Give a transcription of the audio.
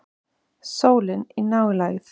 Sólin í nálægð.